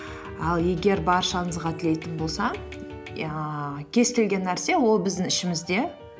ал егер баршаңызға тілейтін болсам ііі кез келген нәрсе ол біздің ішімізде